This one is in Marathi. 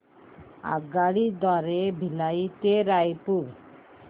आगगाडी द्वारे भिलाई ते रायपुर